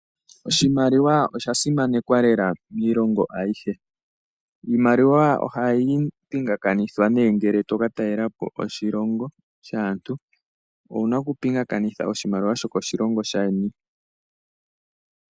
Oshimaliwa osha simanekwa lela miilongo ayihe. Iimaliwa ohayi pinga kanithwa nee ngele to ka talelapo koshilongo shaantu, owuna oku pinga kanitha sho koshilongo shaayeni.